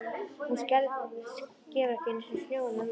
Hún skefur ekki einu sinni snjóinn af rúðunum!